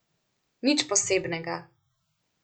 Nič posebnega.